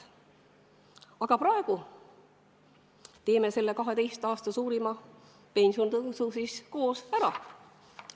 Aga praegu teeme selle 12 aasta suurima pensionitõusu siis koos ära!